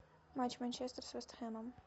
матч манчестер с вест хэмом